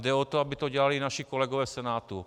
Jde o to, aby to dělali naši kolegové v Senátu.